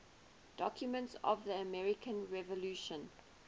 documents of the american revolution